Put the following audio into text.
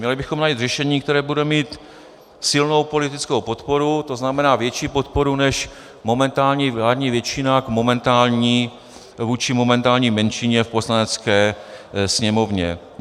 Měli bychom najít řešení, které bude mít silnou politickou podporu, to znamená větší podporu než momentální vládní většina vůči momentální menšině v Poslanecké sněmovně.